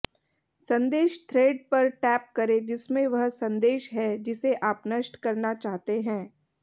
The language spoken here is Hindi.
संदेश थ्रेड पर टैप करें जिसमें वह संदेश है जिसे आप नष्ट करना चाहते हैं